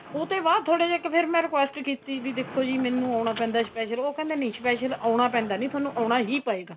ਉਹਤੇ ਬਾਅਦ ਥੋੜੇ ਜੇ ਮੈਂ ਫੇਰ ਇੱਕ request ਕੀਤੀ ਬੀ ਦੇਖੋ ਜੀ ਮੈਨੂੰ ਆਉਣਾ ਪੈਂਦਾ special ਉਹ ਕਹਿੰਦਾ ਨਹੀਂ special ਆਉਣਾ ਪੈਦਾ ਨੀ ਤੁਹਾਨੂੰ ਆਉਣਾ ਹੀ ਪਏਗਾ